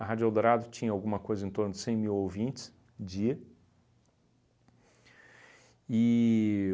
A Rádio Eldorado tinha alguma coisa em torno de cem mil ouvintes dia. E